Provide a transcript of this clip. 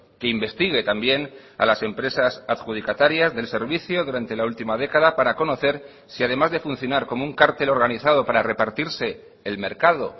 que investigue también a las empresas adjudicatarias del servicio durante la última década para conocer si además de funcionar como un cartel organizado para repartirse el mercado